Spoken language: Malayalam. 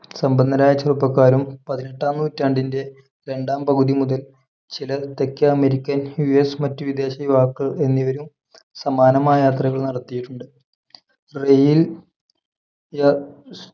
സമ്പന്നരായ ചെറുപ്പക്കാരും പതിനെട്ടാം നൂറ്റാണ്ടിന്റെ രണ്ടാം പകുതി മുതൽ ചില തെക്കേ അമേരിക്കൻ യുഎസ് മറ്റ് വിദേശ യുവാക്കൾ എന്നിവരും സമാനമായ യാത്രകൾ നടത്തിയിട്ടുണ്ട് rail ഏർ